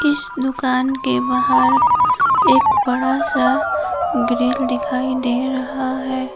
इस दुकान के बाहर एक बड़ा सा ग्रील दिखाई दे रहा है।